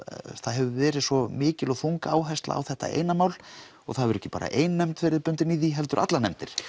það hefur verið svo mikil og þung áhersla á þetta eina mál og það hefur ekki bara ein nefnd verið bundin í því heldur allar nefndir